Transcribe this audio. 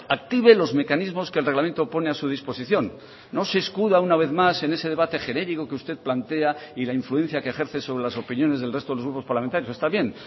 active los mecanismos que el reglamento pone a su disposición no se escuda una vez más en ese debate genérico que usted plantea y la influencia que ejerce sobre las opiniones del resto de los grupos parlamentarios está bien